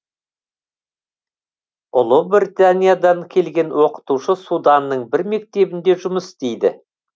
ұлыбританиядан келген оқытушы суданның бір мектебінде жұмыс істейді